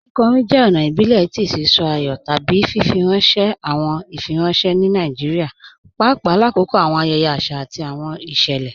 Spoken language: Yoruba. Kíkọ̀rín jẹ́ ọ̀na ìbílẹ̀ tì sí sọ̀ àyọ̀ tábí fífirànṣẹ̀ awọn ìfírànṣẹ̀ ní Nàìjíríà, pàpà làkọ̀kọ̀ awọn ayẹyẹ̀ àṣà àti awọn ìṣẹ́lẹ.